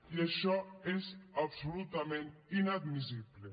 i això és absolutament inadmissible